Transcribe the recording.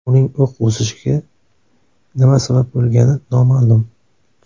Uning o‘q uzishiga nima sabab bo‘lgani noma’lum.